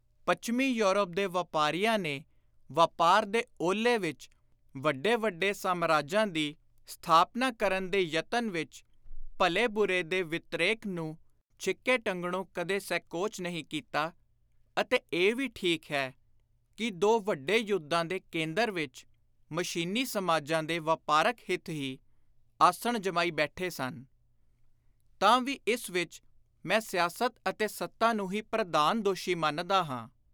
ਪੱਛਮੀ ਯੂਰਪ ਦੇ ਵਾਪਾਰੀਆਂ ਨੇ ਵਾਪਾਰ ਦੇ ਓਹਲੇ ਵਿਚ ਵੱਡੇ ਵੱਡੇ ਸਾਮਰਾਜਾਂ ਦੀ ਸਥਾਪਨਾ ਕਰਨ ਦੇ ਯਤਨ ਵਿਚ ਭਲੇ-ਬੁਰੇ ਦੇ ਵਿਤ੍ਰੇਕ ਨੂੰ ਛਿੱਕੇ ਟੰਗਣੋਂ ਕਦੇ ਸੈਕੋਚ ਨਹੀਂ ਕੀਤਾ ਅਤੇ ਇਹ ਵੀ ਠੀਕ ਹੈ ਕਿ ਦੋ ਵੱਡੇ ਯੁੱਧਾਂ ਦੇ ਕੇਂਦਰ ਵਿਚ ਮਸ਼ੀਨੀ ਸਮਾਜਾਂ ਦੇ ਵਾਪਾਰਕ ਹਿਤ ਹੀ ਆਸਣ ਜਮਾਈ ਬੈਠੇ ਸਨ, ਤਾਂ ਵੀ ਇਸ ਵਿਚ ਮੈਂ ਸਿਆਸਤ ਅਤੇ ਸੱਤਾ ਨੂੰ ਹੀ ਪ੍ਰਧਾਨ ਦੋਸ਼ੀ ਮੰਨਦਾ ਹਾਂ।